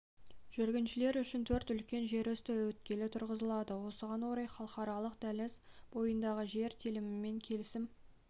жүргіншілер үшін төрт үлкен жерүсті өткелі тұрғызылады осыған орай халықаралық дәліз бойындағы жер телімімен келісім